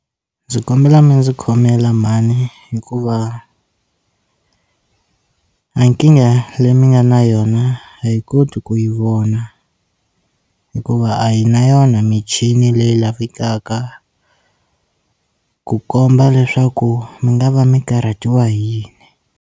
Ndzi kombela mi ndzi khomela mhani hikuva a nkingha leyi mi nga na yona a hi koti ku yi vona hikuva a hi na yona michini leyi lavekaka ku komba leswaku mi nga va mi karhatiwa hi yini.